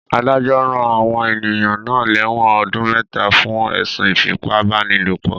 Adájọ́ rán àwọn ènìyàn náà lẹ́wọ̀n ọdún mẹta fún ẹ̀sùn ìfipá-báni-lòpọ̀